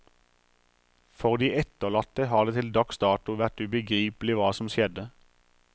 For de etterlatte har det til dags dato vært ubegripelig hva som skjedde.